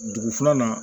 Dugu filanan